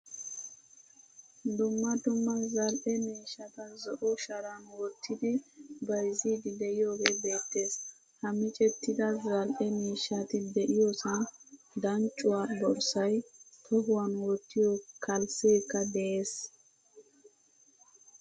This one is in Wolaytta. Dumma dumma zal'e miishshata zo'o sharan wottidi bayzzidi de'iyoge beettees. Ha miccettida zal'e miishshati de'iyosan danccuwaa borssay, tohuwaan wottiyo kalssekka de'ees.